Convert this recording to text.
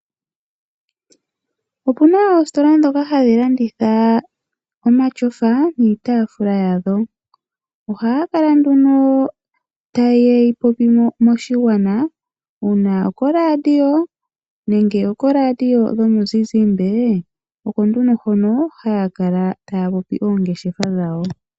Opuna oositola dhoka hadhi landitha omashofa niitaafula yadho. Oha ya kala nduno ta ye yi popi moshigwana, uuna okoradio nenge oko radio dhomizizimbe, oko nduno ha ya kala taa popi oongeshefa dhawo.